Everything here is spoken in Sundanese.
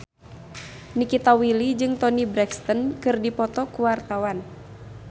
Nikita Willy jeung Toni Brexton keur dipoto ku wartawan